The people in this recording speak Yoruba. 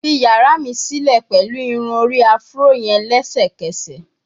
Fi yara mi silẹ pẹlu irun-ori Afro yẹn lẹsẹkẹsẹ